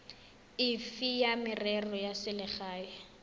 efe ya merero ya selegae